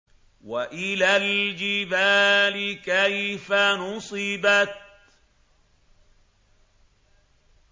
وَإِلَى الْجِبَالِ كَيْفَ نُصِبَتْ